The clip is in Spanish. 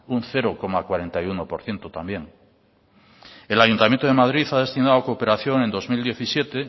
un cero coma cuarenta y uno por ciento también el ayuntamiento de madrid ha destinado a cooperación en dos mil diecisiete